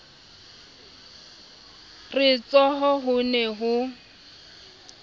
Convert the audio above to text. re tsho ho ne ho